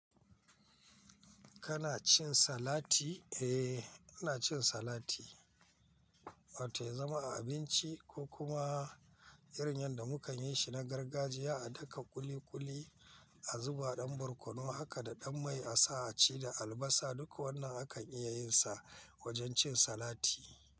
Kana cin salati? Eh, ina cin salati. Wata ya zama a abinci ko kuma irin yadda mu kan yi shi na gargajiya, a daka ƙuli-ƙuli, a zuba ɗan barkono, haka da ɗan mai a sa a ci da albasa. Duk wannan akan iya yin sa wajen cin salati.